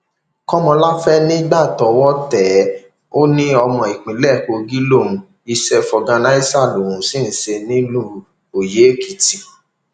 kọmọláfẹ ní nígbà tọwọ tẹ ẹ ó ní ọmọ ìpínlẹ kogi lòún iṣẹ fọgànàṣá lòún sì ń ṣe nílùú oyèèkìtì